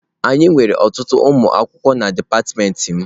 Anyị nwere ọtụtụ ụmụ akwụkwọ na dipatịmentị m.